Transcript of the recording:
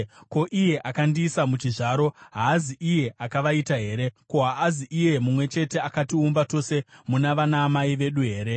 Ko, iye akandiisa muchizvaro haazi iye akavaita here? Ko, haazi iye mumwe chete akatiumba tose muna vanamai vedu here?